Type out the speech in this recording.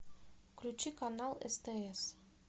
включи канал стс